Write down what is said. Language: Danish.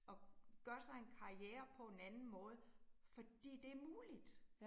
At gøre sig en karriere på en anden måde fordi det muligt